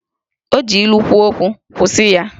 O ji ilu kwuo okwu, kwụsị ya!